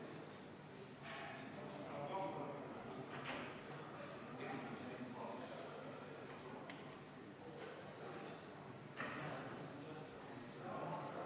See näib tõepoolest suur probleem olevat ja puudutab eeskätt neid vedajaid, kes ei ole üldse Eesti maksumaksjad, aga kes peaksid samuti seda tasu maksma.